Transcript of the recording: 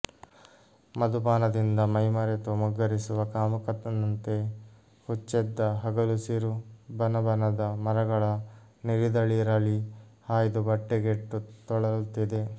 ಮಧುಪಾನದಿಂದ ಮೈಮರೆತು ಮುಗ್ಗರಿಸುವ ಕಾಮುಕನಂತೆ ಹುಚ್ಚೆದ್ದ ಹಗಲುಸಿರು ಬನಬನದ ಮರಗಳ ನಿರಿದಳಿರಲಿ ಹಾಯ್ದು ಬಟ್ಟೆಗೆಟ್ಟು ತೊಳಲುತ್ತಿದೆ